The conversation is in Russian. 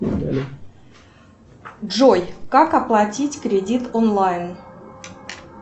джой как оплатить кредит онлайн